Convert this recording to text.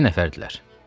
İki nəfərdirlər.